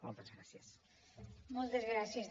moltes gràcies